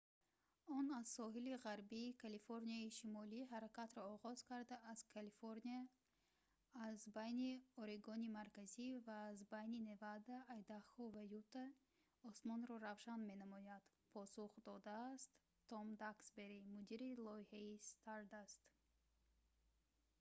"он аз соҳили ғарбии калифорнияи шимолӣ ҳаракатро оғоз карда аз калифорния аз байни орегони марказӣ ва аз байни невада айдахо ва юта осмонро равшан менамояд,» посух додааст том даксбери мудири лоиҳаи «stardust